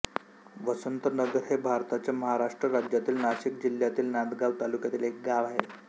वसंतनगर हे भारताच्या महाराष्ट्र राज्यातील नाशिक जिल्ह्यातील नांदगाव तालुक्यातील एक गाव आहे